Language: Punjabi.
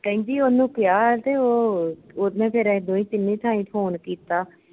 ਕਹਿੰਦੀ ਉਹਨੂੰ ਕਿਹਾ ਤੇ ਉਹ ਉਹਨੇ ਫਿਰ ਦੋਈ ਤਿੰਨੀ ਥਾਈ phone ਕੀਤਾ